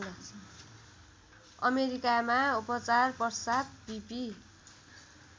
अमेरिकामा उपचारपश्चात् बिपि